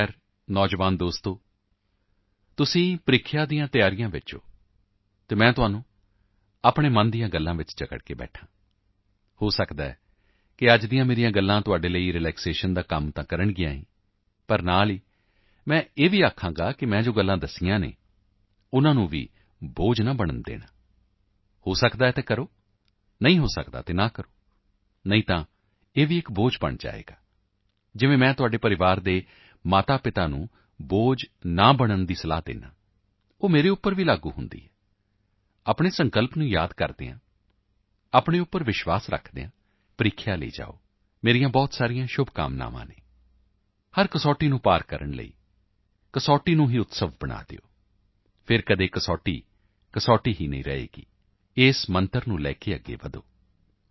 ਖੈਰ ਨੌਜਵਾਨ ਦੋਸਤੋ ਤੁਸੀਂ ਪ੍ਰੀਖਿਆ ਦੀ ਤਿਆਰੀ ਵਿੱਚ ਹੋ ਅਤੇ ਮੈਂ ਤੁਹਾਨੂੰ ਮਨ ਦੀਆਂ ਗੱਲਾਂ ਵਿੱਚ ਜਕੜ ਕੇ ਬੈਠਾਂ ਹਾਂ ਹੋ ਸਕਦਾ ਹੈ ਇਹ ਅੱਜ ਦੀਆਂ ਮੇਰੀਆਂ ਗੱਲਾਂ ਵੀ ਤਾਂ ਤੁਹਾਡੇ ਲਈ ਰਿਲੈਕਸੇਸ਼ਨ ਦਾ ਤਾਂ ਕੰਮ ਕਰਨਗੀਆਂ ਹੀ ਕਰਨਗੀਆਂ ਪਰ ਮੈਂ ਨਾਲਨਾਲ ਇਹ ਵੀ ਕਹਾਂਗਾ ਮੈਂ ਜੋ ਗੱਲਾਂ ਦੱਸੀਆਂ ਹਨ ਉਸ ਨੂੰ ਵੀ ਬੋਝ ਨਹੀਂ ਬਣਨ ਦੇਣਾ ਹੋ ਸਕਦਾ ਹੈ ਤਾਂ ਕਰੋ ਨਹੀਂ ਹੋ ਸਕਦਾ ਤਾਂ ਨਾ ਕਰੋ ਨਹੀਂ ਤਾਂ ਇਹ ਵੀ ਇੱਕ ਬੋਝ ਬਣ ਜਾਏਗਾ ਤਾਂ ਜਿਵੇਂ ਮੈਂ ਤੁਹਾਡੇ ਪਰਿਵਾਰ ਦੇ ਮਾਤਾਪਿਤਾ ਨੂੰ ਬੋਝ ਨਾ ਬਣਨ ਦੀ ਸਲਾਹ ਦਿੰਦਾ ਹਾਂ ਉਹ ਮੇਰੇ ਤੇ ਵੀ ਲਾਗੂ ਹੁੰਦੀ ਹੈ ਆਪਣੇ ਸੰਕਲਪ ਨੂੰ ਯਾਦ ਕਰਦੇ ਹੋਏ ਆਪਣੇ ਤੇ ਵਿਸ਼ਵਾਸ ਰੱਖਦੇ ਹੋਏ ਪ੍ਰੀਖਿਆ ਲਈ ਜਾਓ ਮੇਰੀਆਂ ਬਹੁਤ ਸ਼ੁਭਕਾਮਨਾਵਾਂ ਹਨ ਹਰ ਕਸੌਟੀ ਤੋਂ ਪਾਰ ਉੱਤਰਨ ਲਈ ਕਸੌਟੀ ਨੂੰ ਉਤਸਵ ਬਣਾ ਦਿਓ ਫਿਰ ਕਦੇ ਕਸੌਟੀ ਕਸੌਟੀ ਹੀ ਨਹੀਂ ਲੱਗੇਗੀ ਇਸ ਮੰਤਰ ਨੂੰ ਲੈ ਕੇ ਅੱਗੇ ਵਧੋ